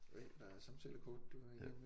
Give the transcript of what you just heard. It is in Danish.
Øj der er samtalekort du er i gang med